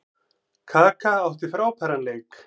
Kaka átti frábæran leik.